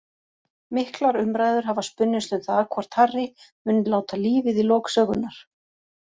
Miklar umræður hafa spunnist um það hvort Harry muni láta lífið í lok sögunnar.